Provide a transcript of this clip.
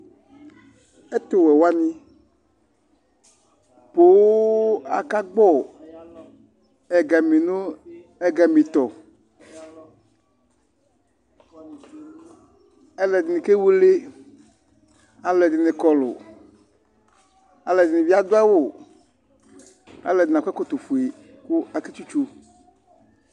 Ɛtu wɛ wani pooo aka gbɔ ɛgami nu ɛgami tɔ Al'ɛdini ke woele alu ɛdini kɔlu, al'ɛdini bi adu awu, al'ɛdini akɔ ɛkɔtɔ fue ku ake tsitso